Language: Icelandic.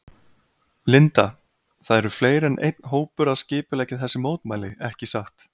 Linda: Það eru fleiri en einn hópur að skipuleggja þessi mótmæli ekki satt?